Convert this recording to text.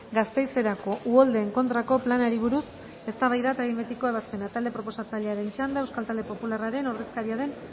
gasteizerako uholdeen kontrako planari buruz eztabaida eta behin betiko ebazpena talde proposatzailearen txanda euskal talde popularraren ordezkaria den